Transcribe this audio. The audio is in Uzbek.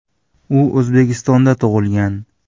U O‘zbekistonda tug‘ilgan.